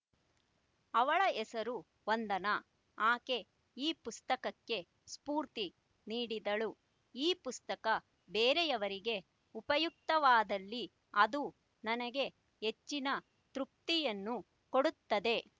ಅವಳ ಹೆಸರು ವಂದನಾ ಆಕೆ ಈ ಪುಸ್ತಕಕ್ಕೆ ಸ್ಫೂರ್ತಿ ನೀಡಿದಳು ಈ ಪುಸ್ತಕ ಬೇರೆಯವರಿಗೆ ಉಪಯುಕ್ತವಾದಲ್ಲಿ ಅದು ನನಗೆ ಹೆಚ್ಚಿನ ತೃಪ್ತಿಯನ್ನು ಕೊಡುತ್ತದೆ